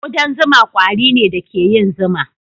Kudan zuma ƙwari ne da ke yin zuma.